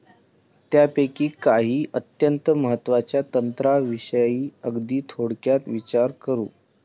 त्यापैकी काही अत्यंत महत्वाच्या तंत्राविषयी अगदी थोडक्यात विचार करू.